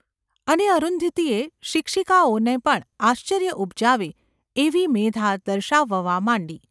અને અરુંધતીએ શિક્ષિકાઓને પણ આશ્ચર્ય ઉપજાવે એવી મેધા દર્શાવવામાં માંડી.